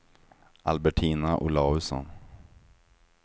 Albertina Olausson